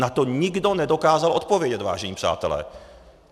Na to nikdo nedokázal odpovědět, vážení přátelé.